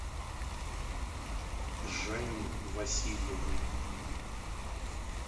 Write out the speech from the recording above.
жанне васильевне